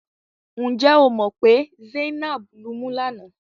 Ǹ jẹ́ o mọ̀ pé Zainab lumú lánàá?